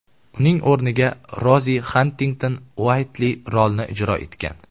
Uning o‘rniga Rozi Xantington-Uaytli rolni ijro etgan.